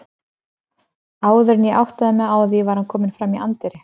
Áður en ég áttaði mig á því var hann kominn fram í anddyri.